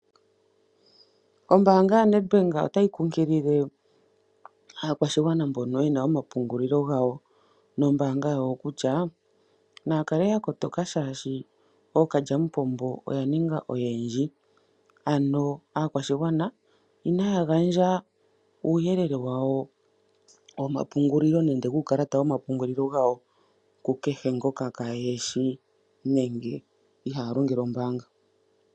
Ombaanga ya Nadbank ota yi kunkilile, aakwashigwana mbono yena oma pungulilo gawo nombasnga yawo kutya, naskake ya kotoka shaashi ookalyamupombooya ninga oyendji. Ano aakwashigwana ina ya gandja uuyelele wawo womapungulilo, nenge wuukalata womapungulilo gawo kukehe ngoka kaa ye shi nenge iha longele ombaanga.